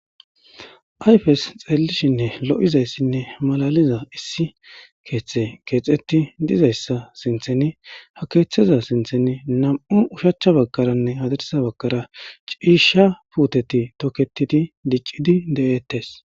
Ayfes xelishshin lo'iyanne malalza issi keththay kexeti dizayssa sinththen nam''u ushshacha bagane hadirssa bagan cisha miththati bettetes.